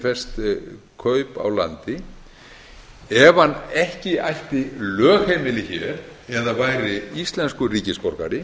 fest kaup á landi ef hann ekki ætti lögheimili hér eða væri íslenskur ríkisborgari